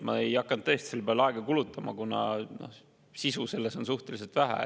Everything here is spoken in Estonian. Ma ei hakanud tõesti selle peale aega kulutama, kuna sisu selles on suhteliselt vähe.